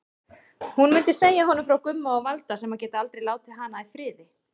Hún mundi segja honum frá Gumma og Valda sem geta aldrei látið hana í friði.